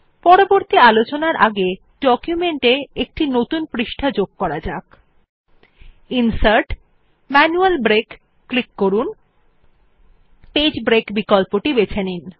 পরবর্তী আলোচনার আগে ডকুমেন্ট এ একটি নতুন পৃষ্ঠা যুক্ত করা যাক ন্সার্ট জিটিজিটি ম্যানুয়াল ব্রেক ক্লিক করুন এবং পেজ ব্রেক বিকল্পটি বেছে নিন